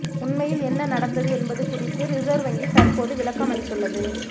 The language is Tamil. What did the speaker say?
உண்மையில் என்ன நடந்தது என்பது குறித்து ரிசர்வ் வங்கி தற்போது விளக்கம் அளித்துள்ளது